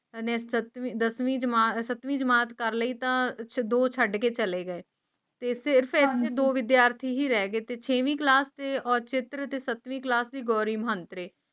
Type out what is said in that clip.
ਦਸਵੀਂ ਜਮਾਤ ਸੱਤਵੀਂ ਜਮਾਤ ਕਰਕੇ ਤੇ ਦੋ ਛੱਡ ਕੇ ਚਲੇ ਗਏ ਸਿਰ ਤੇ ਪੇਂਡੂ ਵਿਦਿਆਰਥੀ ਹੀ ਰਹਿ ਗਏ ਤੇ ਛਾਵੀਂ ਕਲਾਸ ਤੋਂ ਦਾਵੀਂ ਕਲਾਸ ਗੋਰੀ ਮੰਤਰੀ